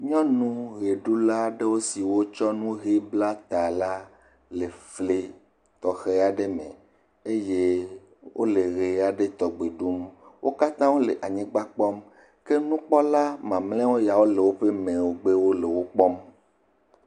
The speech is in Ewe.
Nyɔnu ʋeɖula aɖewo siwo tsɔ enu ʋe bla ta la le fli tɔxɛ aɖe me eye wole ʋe aɖe tɔgbe ɖum, wo katã wole anyigba kpɔm, ke nukpɔla mamlɛwo ya le woƒe megbe le wo kpɔm.